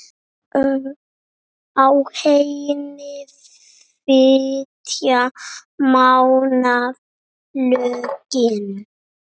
Á henni flytja Mánar lögin